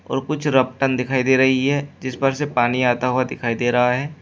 और कुछ रपटन दिखाई दे रही है जिस पर से पानी आता हुआ दिखाई दे रहा है।